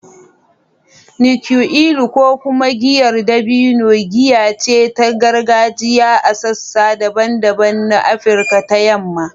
“Nkwu elu,” ko kuma giyar dabino, giya ce ta gargajiya a sassa daban-daban na Afirka ta Yamma.